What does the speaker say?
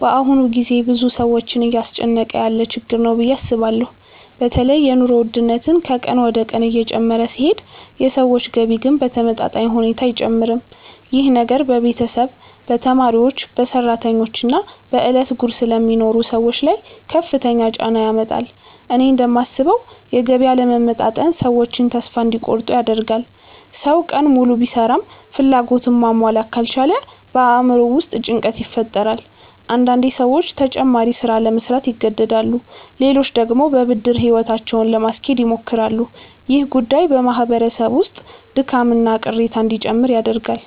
በአሁኑ ጊዜ ብዙ ሰዎችን እያስጨነቀ ያለ ችግር ነው ብዬ አስባለሁ። በተለይ የኑሮ ውድነት ከቀን ወደ ቀን እየጨመረ ሲሄድ የሰዎች ገቢ ግን በተመጣጣኝ ሁኔታ አይጨምርም። ይህ ነገር በቤተሰብ፣ በተማሪዎች፣ በሰራተኞች እና በዕለት ጉርስ ለሚኖሩ ሰዎች ላይ ከፍተኛ ጫና ያመጣል። እኔ እንደማስበው የገቢ አለመመጣጠን ሰዎችን ተስፋ እንዲቆርጡ ያደርጋል። ሰው ቀን ሙሉ ቢሰራም ፍላጎቱን ማሟላት ካልቻለ በአእምሮው ውስጥ ጭንቀት ይፈጠራል። አንዳንዴ ሰዎች ተጨማሪ ሥራ ለመሥራት ይገደዳሉ፣ ሌሎች ደግሞ በብድር ሕይወታቸውን ለማስኬድ ይሞክራሉ። ይህ ጉዳይ በማህበረሰብ ውስጥ ድካምና ቅሬታ እንዲጨምር ያደርጋል።